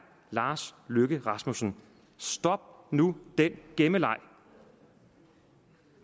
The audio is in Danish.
lars løkke rasmussen stop nu den gemmeleg